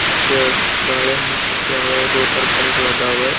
ಮತ್ತೆ ಬಾಳೆಹಣ್ಣು ಮತ್ತೆ ಯಾವ ಯಾವದೋ ತರಕಾರಿಗಳು ಅದವ.